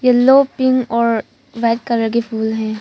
Yellow pink और white colour के फूल है।